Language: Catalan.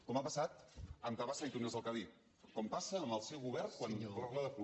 com ha pas·sat amb tabasa i túnels del cadí com passa en el seu govern quan parla de col